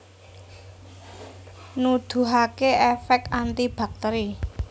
Nuduhaké èfèk anti baktèri